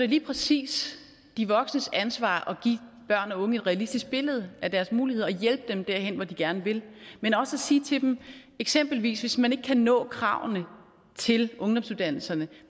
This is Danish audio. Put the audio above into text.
lige præcis de voksnes ansvar at og unge et realistisk billede af deres muligheder og hjælpe dem derhen hvor de gerne vil men også at sige til dem eksempelvis hvis man ikke kan nå kravene til ungdomsuddannelserne